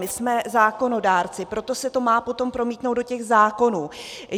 My jsme zákonodárci, proto se to má potom promítnout do těch zákonů.